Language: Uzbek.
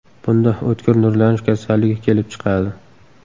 Bunda o‘tkir nurlanish kasalligi kelib chiqadi.